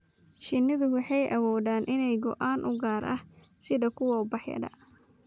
Shinnidu waxay awoodaan inay ogaadaan ur gaar ah, sida kuwa ubaxyada.